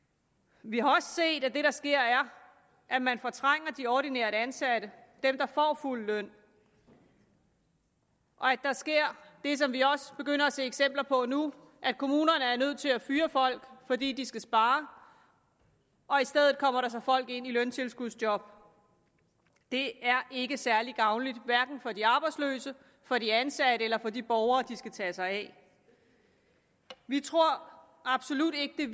vi har også set at det der sker er at man fortrænger de ordinært ansatte dem der får fuld løn og at der sker det som vi også begynder at se eksempler på nu at kommunerne er nødt til at fyre folk fordi de skal spare og i stedet kommer der så folk ind i løntilskudsjob det er ikke særlig gavnligt hverken for de arbejdsløse for de ansatte eller for de borgere de skal tage sig af vi tror absolut ikke at